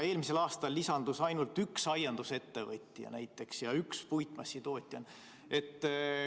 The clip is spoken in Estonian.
Eelmisel aastal lisandus näiteks ainult üks aiandusettevõtja ja üks puitmassitootja.